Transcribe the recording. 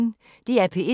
DR P1